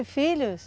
filhos?